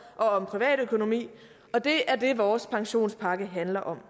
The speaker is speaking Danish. og om privatøkonomi og det er det vores pensionspakke handler om